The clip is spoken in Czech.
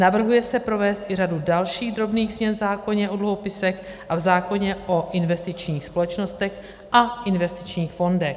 Navrhuje se provést i řadu dalších drobných změn v zákoně o dluhopisech a v zákoně o investičních společnostech a investičních fondech.